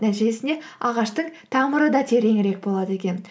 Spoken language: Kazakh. нәтижесінде ағаштың тамыры да тереңірек болады екен